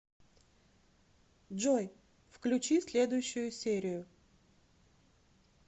джой включи следующую серию